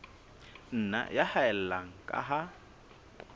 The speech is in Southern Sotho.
nna ya haella ka ha